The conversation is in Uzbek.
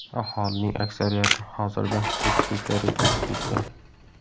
Aholining aksariyati hozirda tekisliklarga ko‘chib ketgan.